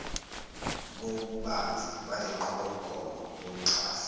kobubanzi balenqubomgomo yokuxhasa